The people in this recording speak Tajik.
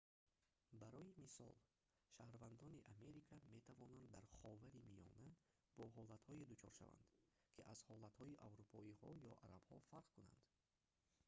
барои мисол шаҳрвандони америка метавонанд дар ховари миёна бо ҳолатҳое дучор шаванд ки аз ҳолатҳои аврупоиҳо ё арабҳо фарқ кунанд